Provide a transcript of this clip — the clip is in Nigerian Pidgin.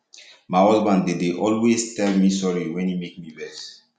my husband dey dey always tell me sorry wen e make me vex